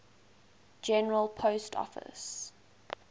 general post office